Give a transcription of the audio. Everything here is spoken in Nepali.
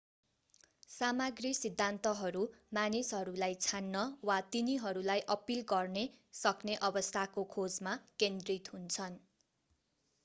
सामग्री सिद्धान्तहरू मानिसहरूलाई छान्न वा तिनीहरूलाई अपील गर्ने सक्ने अवस्थाको खोजमा केन्द्रित हुन्छन्